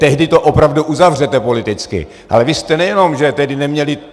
tehdy to opravdu uzavřete politicky, ale vy jste nejenom že tedy neměli...